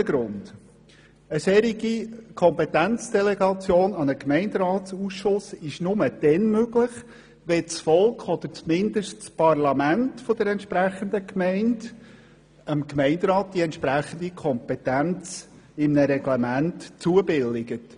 Zum zweiten Grund: Eine solche Kompetenzdelegation an einen Gemeinderatsausschuss ist nur dann möglich, wenn das Volk oder zumindest das Parlament der jeweiligen Gemeinde dem Gemeinderat die entsprechende Kompetenz in einem Reglement zubilligt.